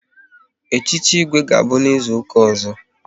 Echichi Igwe ga-abụ n'izuka ọzọ